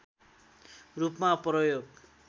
रूपमा प्रयोग